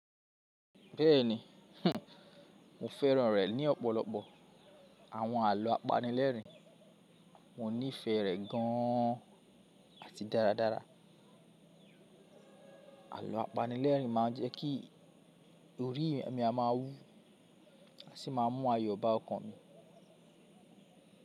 Bẹ́ẹ̀ni, hmm, mo fẹ́ràn rẹ̀ ní ọ̀pọ̀lọpọ̀. Àwọn àlọ́ apanilẹ́rìn, mo nífẹ̀ẹ́ rẹ̀ gan an àti dáradára. Àlọ́ apanilẹ́rìn máa jẹ́ kí orí mi máa wú, a sì máa mú ayọ̀ bá ọkàn mi.